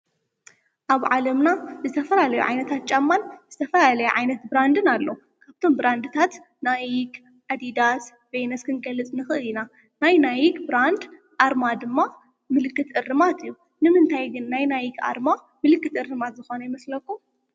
ኣብ ዓለምና ዝተፈራለዮ ዓይነት ጫማን ዝተፈልለዩ ዓይነት ብራንድን ኣለው፡፡ ካብቶም ብራንድታት ናይክ፣ ኣዲዳስ፣ ቤይነስ ክንገልፅ ንኽእል ኢና፡፡ ናይ ናይክ ብራንድ ኣርማ ድማ ምልክት እርማት እዩ፡፡ ንምንታይ ግን ናይ ናይክ ኣርማ ምልክት እርማት ዝኾነ ይመስለኩም?